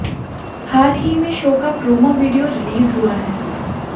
हाल ही में शो का प्रोमो वीडियो रिलीज हुआ है